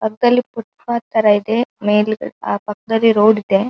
ಅಂತಲ್ಲಿ footpath ತರ ಇದೆ ಮೇಲಗಡೆ ಆ ಪಕ್ಕದಲ್ಲಿ ರೋಡ್ ಇದೆ.